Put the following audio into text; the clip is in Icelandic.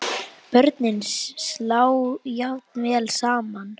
Börnin slá jafnvel saman.